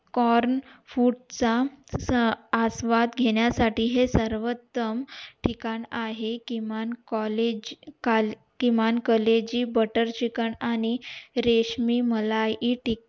corn food चा आस्वाद घेण्या साठी हे सर्वंतम ठिकाण आहे किमान college काल किमान कलेजी butter chicken आणि रेशमी मलाई टिक्का